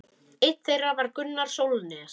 Einn þeirra var Gunnar Sólnes.